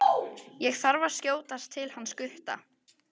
Ég þarf að skjótast til hans Gutta.